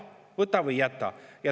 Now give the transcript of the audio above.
Võta või jäta!